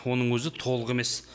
оның өзі толық емес